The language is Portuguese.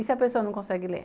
E se a pessoa não consegue ler?